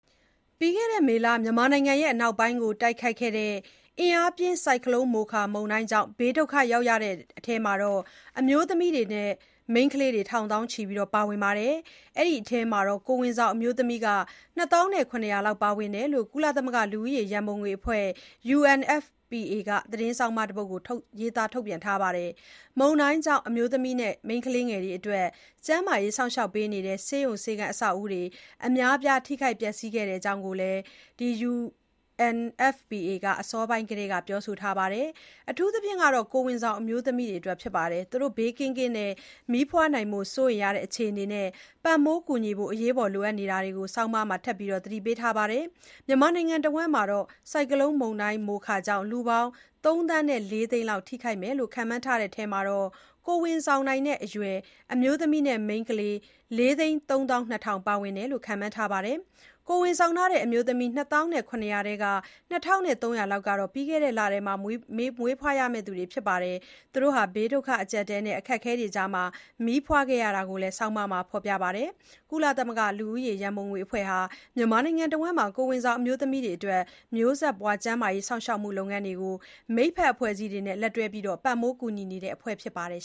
ပြီးခဲ့တဲ့မေလ မြန်မာနိုင်ငံ အနောက်ပိုင်းကို တိုက်ခတ်ခဲ့တဲ့ အင်အားပြင်း မိုခါမုန်တိုင်းကြောင့် ဘေးဒုက္ခရောက်ရတဲ့အထဲမှာ အမျိုးသမီးနဲ့ မိန်းခလေးတွေ ထောင်သောင်းချီ ပါဝင်ပြီး အဲဒီအထဲမှာ ကိုယ်ဝန်ဆောင်အမျိုးသမီး ၂ သောင်း ၇ ရာလောက် လည်း ပါဝင်တဲ့ အကြောင်း ကုလသမဂ္ဂ လူဦးရေရံပုံငွေအဖွဲ့ UNFPA က သတင်းဆောင်းပါးတပုဒ် ရေးသားထုတ်ပြန်ပါတယ်။ မုန်တိုင်းကြောင့် အမျိုးသမီးနဲ့ မိန်းခလေးငယ်တွေ အတွက် ကျန်းမာရေးစောင့်ရှောက်ပေးနေတဲ့ ဆေးရုံဆေးခန်း အဆောက်အအုံတွေ အများအပြား ထိခိုက်ပျက်ဆီးခဲ့တဲ့အကြောင်း UNFPA က အစောပိုင်းကတည်းက ပြောဆိုထားပါတယ်။ အထူးသဖြင့် ကိုယ်ဝန်ဆောင်အမျိုးသမီးတွေက ဘေးကင်းကင်း မီးဖွားနိုင်ဖို့ စိုးရိမ်နေရတဲ့ အခြေအနေနဲ့ ပံ့ပိုးကူညီဖို့ လိုအပ်နေတာတွေကို ဆောင်းပါးမှာ ထပ်မံ သတိပေးထားပါတယ်။ မြန်မာနိုင်ငံတဝှမ်း မုန်တိုင်းကြောင့် လူပေါင်း ၃ သန်း ၄ သိန်းလောက် ထိခိုက်မယ်လို့ ခန့်မှန်းတဲ့အထဲမှာ ကိုယ်ဝန်ဆောင်နိုင်တဲ့ အရွယ် အမျိုးသမီးနဲ့ မိန်းခလေး ၄ သိန်း ၃ သောင်း ၂ ထောင် ပါဝင်တယ်လို့ ခန့်မှန်းထားပါတယ်။ ကိုယ်ဝန်ဆောင်ထားတဲ့ အမျိုးသမီး ၂ သောင်း ၇ ရာထဲက ၂၃၀၀ လောက်ဟာ ပြီးခဲ့တဲ့ လက မွေးဖွားရမယ့် သူတွေဖြစ်ပြီး ဘေးဒုက္ခအကျပ်အတည်းနဲ့ အခက်အခဲတွေကြား မီးဖွားခဲ့ကြရတာကို ဆောင်းပါးမှာ ဖေါ်ပြထားပါတယ်။ ကုလသမဂ္ဂ လူဦးရေရံပုံငွေအဖွဲ့ UNFPA ဟာ မြန်မာနိုင်ငံတဝှမ်း ကိုယ်ဝန်ဆောင် အမျိုးသမီးတွေအတွက် မျိုးဆက်ပွားကျန်းမာရေး စောင့်ရှောက်မှုလုပ်ငန်းတွေကို မိတ်ဖက်အဖွဲ့အစည်းတွေနဲ့ လက်တွဲပြီး ပံ့ပိုးကူညီနေတဲ့ အဖွဲ့ဖြစ်ပါတယ်